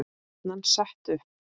Er stefnan sett upp?